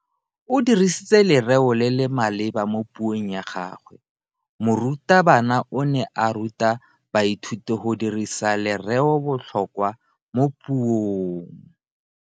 O dirisitse lereo le le maleba mo puong ya gagwe. Morutabana o ne a ruta baithuti go dirisa lereobotlhokwa mo puong.